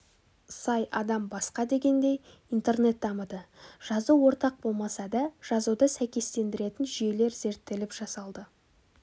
сай адам басқа дегендей интернет дамыды жазу ортақ болмаса да жазуды сәйкестендіретін жүйелер зерттеліп жасалды